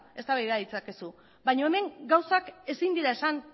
eztabaida ditzakezu baino hemen gauzak ezin dira esan